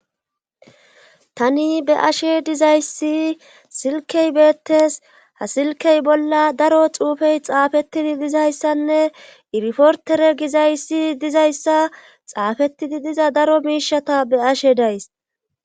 Tani be ashe dizayssi silkey beettes ha silkey bolla daro xuufey xaafetidi dizayssanne irifortere gizayssi dizayssa xaafetidi diza daro miishata be ashe days.